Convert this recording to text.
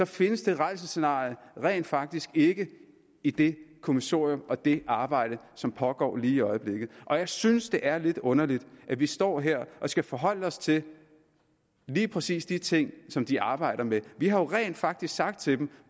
findes det rædselsscenarie rent faktisk ikke i det kommissorium og det arbejde som pågår lige i øjeblikket og jeg synes det er lidt underligt at vi står her og skal forholde os til lige præcis de ting som de arbejder med vi har jo rent faktisk sagt til dem